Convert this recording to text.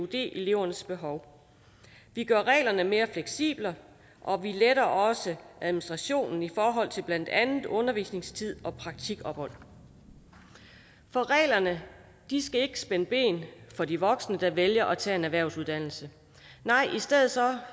elevernes behov vi gør reglerne mere fleksible og vi letter også administrationen i forhold til blandt andet undervisningstid og praktikophold for reglerne skal ikke spænde ben for de voksne der vælger at tage en erhvervsuddannelse nej i stedet